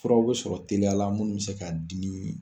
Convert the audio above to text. Furaw bɛ sɔrɔ teliya la minnu bɛ se ka dimi